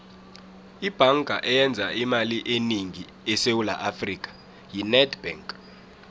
ibhanga eyenza imali enengi esewula afrika yi nedbank